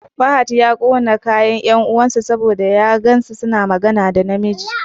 Fahad ya ƙone kayan 'yar uwan sa saboda ya gan tana magana da na miji.